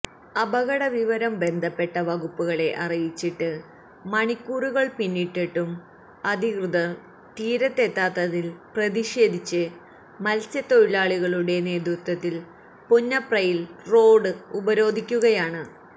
അപകട വിവരം ബന്ധപ്പെട്ട വകുപ്പുകളെ അറിയിച്ചിട്ട് മണിക്കൂറുകള് പിന്നിട്ടിട്ടും അധികൃതര് തീരത്തെത്താത്തതില് പ്രതിഷേധിച്ച് മത്സ്യത്തൊഴിലാളികളുടെ നേതൃത്വത്തില് പുന്നപ്രയില് റോഡ് ഉപരോധിക്കുകയാണ്